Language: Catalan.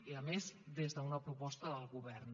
i a més des d’una proposta del govern